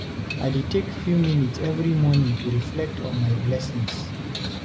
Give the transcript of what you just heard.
I dey take few minutes every morning to reflect on my blessings.